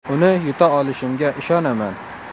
Uni yuta olishimga ishonaman.